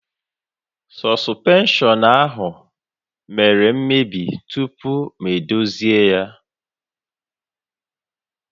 Sọspenshọn ahụ mèrè mmebi tupu m edozi ya